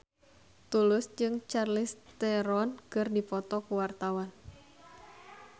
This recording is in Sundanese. Tulus jeung Charlize Theron keur dipoto ku wartawan